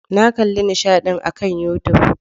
Na kalli nishaɗin akan YouTube.